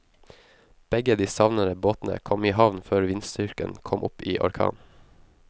Begge de savnede båtene kom i havn før vindstyrken kom opp i orkan.